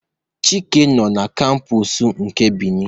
Chike nọ n'kampus nke Beni